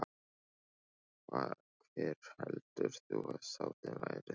Hver heldur þú að sáttin verði þar?